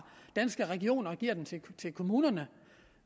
danske regioner og giver dem til kommunerne